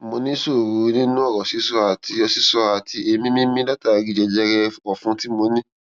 mo ní ìṣòro nínú ọrọ sísọ àti sísọ àti èémí mímí látàri jẹjẹrẹ ọfun tí mo ní